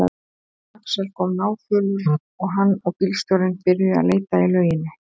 Axel kom náfölur og hann og bílstjórinn byrjuðu að leita í lauginni.